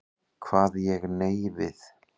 Kvað ég nei við.